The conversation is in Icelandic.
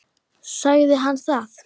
Sagði hann það?